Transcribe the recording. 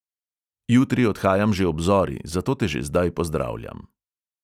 Jutri odhajam že ob zori, zato te že zdaj pozdravljam.